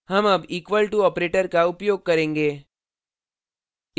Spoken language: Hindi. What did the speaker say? हम अब equal to operator का उपयोग करेंगे